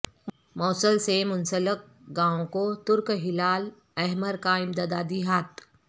موصل سے منسلک گاوں کو ترک ہلال احمر کا امدادی ہاتھ